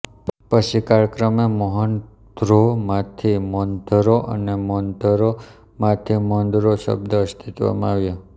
પછી કાળક્રમે મોહન ધ્રો માંથી મોનધરો અને મોનધરો માંથી મોંદરો શબ્દ અસ્તિત્વમાં આવ્યા